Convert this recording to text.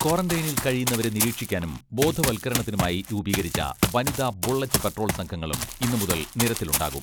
ക്വാറന്റൈനിൽ കഴിയുന്നവരെ നിരീക്ഷിക്കാനും ബോധവൽക്കരണത്തിനുമായി രൂപീകരിച്ച വനിതാ ബുള്ളറ്റ് പട്രോൾ സംഘങ്ങളും ഇന്നുമുതൽ നിരത്തിലുണ്ടാകും.